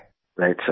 Right sir!